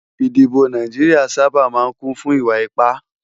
Idibò Náijiriá sàbá má n kún fún iwá ipá